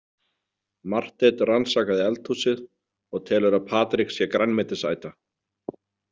Marteinn rannsakaði eldhúsið og telur að Patrik sé grænmetisæta.